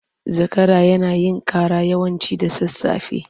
Zakara yana yin cara yawanci da sasafe.